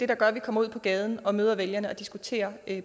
der gør at vi kommer ud på gaden og møder vælgerne og diskuterer